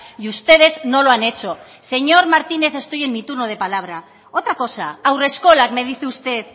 y ustedes no lo han hecho señor martínez estoy en mi turno de palabra otra cosa haurreskolak me dice usted